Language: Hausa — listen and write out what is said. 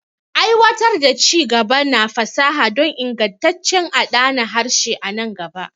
Aiwatar da ci-gaba na fasaha don ingantaccen adana harshe a nan gaba.